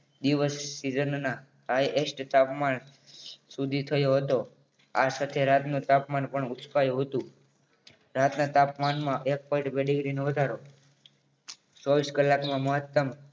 દિવસ season ના highest તાપમાન સુધી થયું હતું આ સાથે રાતનું તાપમાન પણ ઉચ્ચકાયું હતું રાતના તાપમાનમાં એક point બે degree નો વધારો‌ ચોવીસ કલાકમાં મહત્તમ